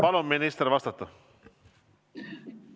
Palun, minister, vastata!